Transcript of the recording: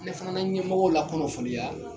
Ne fana na ɲɛmɔgɔw la kunnafoniya